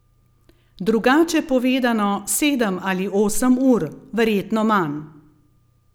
Drugače povedano, sedem ali osem ur, verjetno manj.